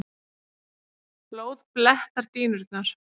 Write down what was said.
Blóð blettar dýnurnar.